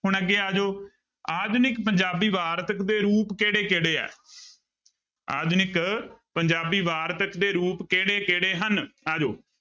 ਹੁਣ ਅੱਗੇ ਆ ਜਾਓ ਆਧੁਨਿਕ ਪੰਜਾਬੀ ਵਾਰਤਕ ਦੇ ਰੂਪ ਕਿਹੜੇ ਕਿਹੜੇ ਹੈ ਆਧੁਨਿਕ ਪੰਜਾਬੀ ਵਾਰਤਕ ਦੇੇ ਰੂਪ ਕਿਹੜੇ ਕਿਹੜੇ ਹਨ ਆ ਜਾਓ।